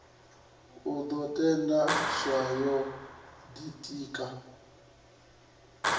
i ḓo thetsheleswa yo ḓitika